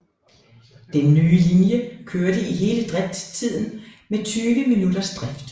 Den nye linje kørte i hele driftstiden med 20 minutters drift